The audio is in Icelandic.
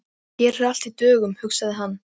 Hér er allt í dögun, hugsaði hann.